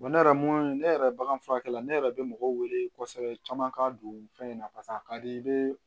ne yɛrɛ mun ne yɛrɛ bagan furakɛla ne yɛrɛ bɛ mɔgɔw wele kosɛbɛ caman ka don fɛn in na paseke a ka di i bɛ